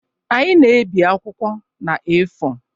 Anyị na-ebi akwụkwọ na A4